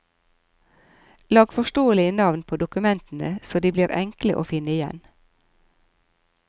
Lag forståelige navn på dokumentene så de blir enkle å finne igjen.